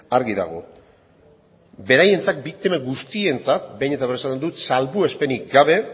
argi dago beraientzat biktima guztientzat behin eta berriro esango dut salbuespenik gabe